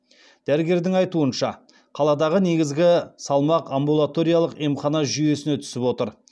дәрігердің айтуынша қаладағы негізгі салмақ амбулаториялық емхана жүйесіне түсіп отыр